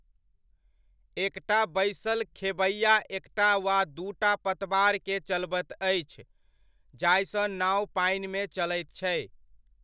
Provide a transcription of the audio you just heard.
एकटा बैसल खेबैआ एकटा वा दूटा पतबारकेँ चलबैत अछि जाहिसँ नाओ पानिमे चलैत छै।